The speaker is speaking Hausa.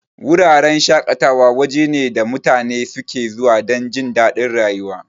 Wuraren shaƙatawa waje ne da mutane suke zuwa dan jindadin rayuwa.